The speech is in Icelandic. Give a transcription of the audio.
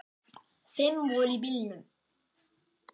Fimm voru í bílnum.